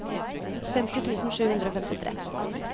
femti tusen sju hundre og femtitre